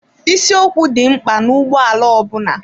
Isi ọkụ dị mkpa n'ụgbọala ọbụla.